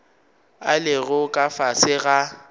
a lego ka fase ga